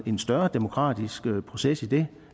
en større demokratisk proces i det